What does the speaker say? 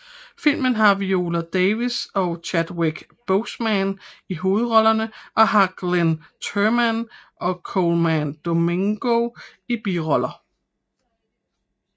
Filmen har Viola Davis og Chadwick Boseman i hovedrollerne og har Glynn Turman og Colman Domingo i biroller